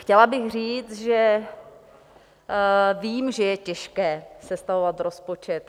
Chtěla bych říct, že vím, že je těžké sestavovat rozpočet.